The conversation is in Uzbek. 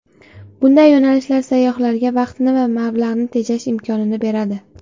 Bunday yo‘nalishlar sayyohlarga vaqtni va mablag‘ni tejash imkonini beradi.